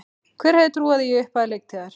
Hver hefði trúað því í upphafi leiktíðar?